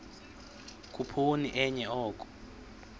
khuphoni enye oko